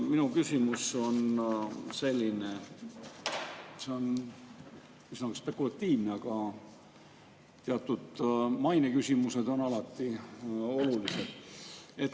Minu küsimus on natuke spekulatiivne, aga teatud maineküsimused on alati olulised.